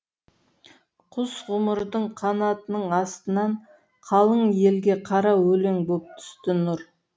құс ғұмырдың қанатының астынан қалың елге қара өлең боп түсті нұр